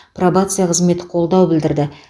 пробация қызметі қолдау білдірді